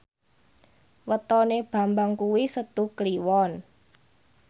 wetone Bambang kuwi Setu Kliwon